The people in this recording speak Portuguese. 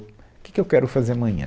O que que eu quero fazer amanhã?